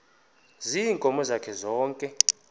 ziinkomo zakhe zonke